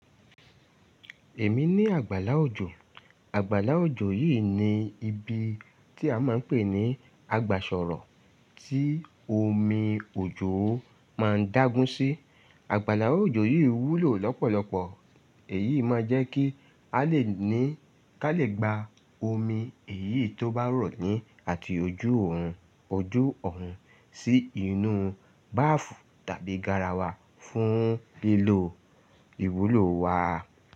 Èmi ní àgbàlá òjò. Àgbàlá òjò yìí ni ibi tí a máa ń pè ní àgbàsọ̀rọ̀ tí omi òjò máa ń dágun sí. Àgbàlá òjò yìí wúlò lọ́pọ̀lọpọ̀. Èyí máa jẹ́ kí a lè ní ká lè gba omi èyí tó bá rọ̀ ní àti ojú òòrùn ojú ọ̀hún sí inú báfù tàbí garawa fún lílò ìwúlò wa.